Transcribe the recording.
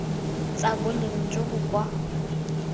tsa boleng jo bo kwa